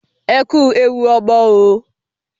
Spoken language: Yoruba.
Ẹ kú ewu ọmọ oo.